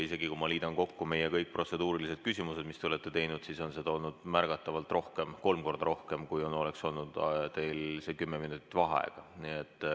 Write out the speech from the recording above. Kui ma liidan kokku kõik protseduurilised küsimused, mis te olete teinud, siis on seda olnud märgatavalt rohkem, kolm korda rohkem, kui oleks kestnud teil see kümme minutit vaheaega.